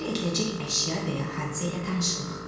Təsvir ediləcək əşya və ya hadisə ilə tanışlıq.